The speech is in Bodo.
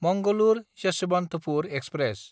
मंगलुर–यस्वन्थपुर एक्सप्रेस